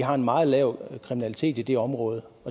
har en meget lav kriminalitet i det område